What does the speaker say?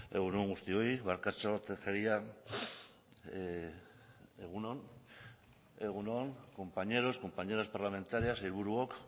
egun on guztioi bakartxo tejeria egun on egun on compañeros compañeras parlamentarias sailburuok